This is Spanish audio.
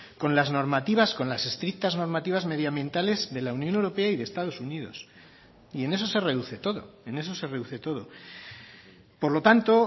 con las normativas con las estrictas normativas medioambientales de la unión europea y de estados unidos y en eso se reduce todo en eso se reduce todo por lo tanto